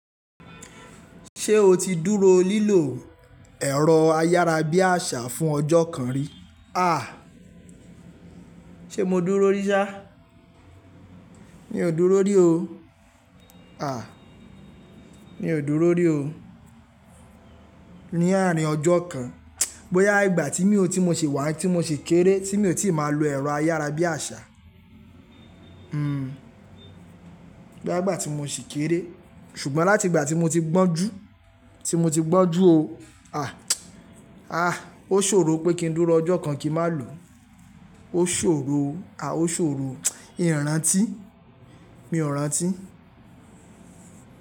Ṣé o ti dúró lílò ẹ̀rọ ayárabíàṣá fún ọjọ́ kan rí? À, ṣé mo dúró rí ṣá? Mi ò dúró rí o. À, mi ò dúró rí o. Ní àárín ọjọ́ kan. Bóyá ìgbà tí mi ò tí mo ṣe wà tí mo ṣe kéré tí mi ò tí ì máa lo ẹ̀rọ ayárabíàṣá. Hhm, bóyá ìgbà tí mo ṣi kéré. Ṣùgbọ́n láti ìgbà tí mo ti gbọ́n jú, tí mo ti gbọ́n jú o, à à ó ṣòro pé kí n dúró ọjọ́ kan kí n má lò. Ó ṣòro o, à ó ṣòro. Mi ò rántí. Mi ò rántí.